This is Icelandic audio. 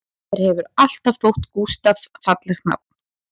Mér hefur alltaf þótt Gústaf fallegt nafn